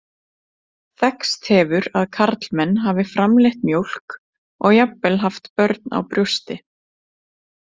Þekkst hefur að karlmenn hafi framleitt mjólk og jafnvel haft börn á brjósti.